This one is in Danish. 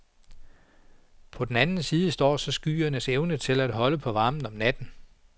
På den anden side står så skyernes evne til at holde på varmen om natten.